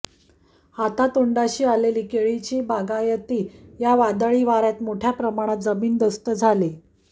हातातोंडाशी आलेली केळीची बागायती या वादळी वाऱयात मोठय़ा प्रमाणात जमीनदोस्त झाली